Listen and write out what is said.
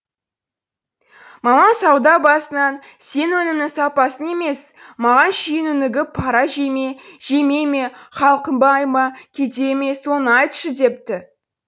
маман сауда басынан сен өнімнің сапасын емес маған шенунігі пара жейме жемейме халқы бай ма кедей ме соны айтшы депті